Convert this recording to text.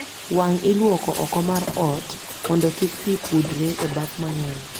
Wang' iluoko oko mar ot mondo kik pi budre e baf mang'eny